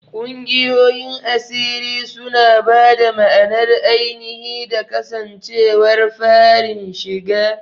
Ƙungiyoyin asiri suna ba da ma'anar ainihi da kasancewar farin shiga..